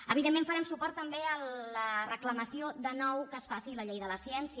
evidentment farem suport també a la reclamació de nou que es faci la llei de la ciència